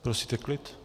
Prosíte klid?